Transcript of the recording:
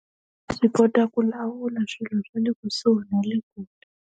Swi kota ku lawula swilo swa le kusuhi na le kule.